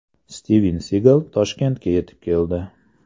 Stiven Sigal Toshkentga yetib keldi.